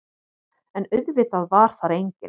En auðvitað var þar enginn.